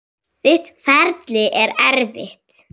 Þitt ferli er erfitt.